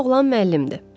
Bu oğlan müəllimdir.